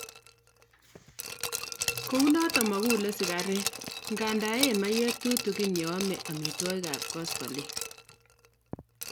Kounotok makule sigaret, nganda eee maiyek tutikin ya ame amituagik ab koskoling.